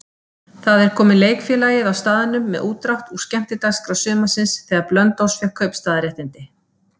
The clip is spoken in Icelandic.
Þar er komið leikfélagið á staðnum með útdrátt úr skemmtiskrá sumarsins, þegar Blönduós fékk kaupstaðarréttindi.